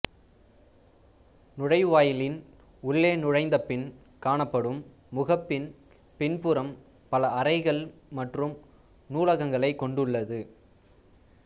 நுழைவாயிலின் உள்ளே நுழைந்த பின் காணப்படும் முகப்பின் பின்புறம் பல அறைகள் மற்றும் நூலகங்களைக் கொண்டுள்ளது